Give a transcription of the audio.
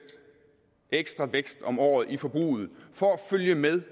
ekstra vækst om året i forbruget for at følge med